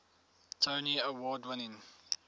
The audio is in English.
tony award winning